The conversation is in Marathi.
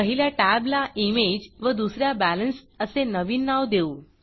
पहिल्या टॅबला imageइमेज व दुस याला Balanceबॅलेन्स असे नवीन नाव देऊ